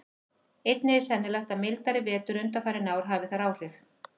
Einnig er sennilegt að mildari vetur undanfarin ár hafi þar áhrif.